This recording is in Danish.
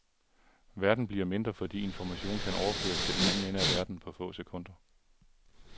Verden bliver mindre fordi information kan overføres til den anden ende af verden på få sekunder.